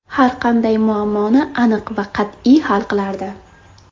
Har qanday muammoni aniq va qat’iy hal qilardi.